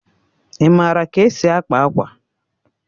Ị maara ka e si akpa akwa?